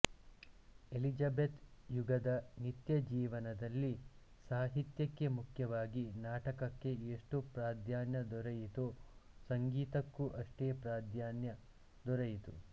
Elizabeth ಯುಗದ ನಿತ್ಯ ಜೀವನದಲ್ಲಿ ಸಾಹಿತ್ಯಕ್ಕೆ ಮುಖ್ಯವಾಗಿ ನಾಟಕಕ್ಕೆ ಎಷ್ಟು ಪ್ರಾದಾನ್ಯ ದೊರೆಯಿತೋ ಸಂಗೀತಕ್ಕೂ ಅಷ್ಟೆ ಪ್ರಾಧಾನ್ಯ ದೊರೆಯಿತು